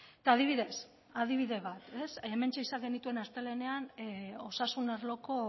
eta adibidez adibide bat hementxe izan genituen astelehenean osasun arloko